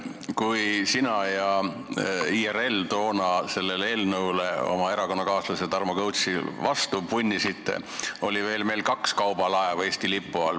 Kui sina ja IRL toona sellele eelnõule ja erakonnakaaslasele Tarmo Kõutsile vastu punnisite, oli meil veel kaks kaubalaeva Eesti lipu all.